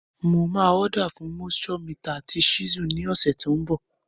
Mo máa order fún moisture meter àti chisel ní ọ̀sẹ̀ tó n bò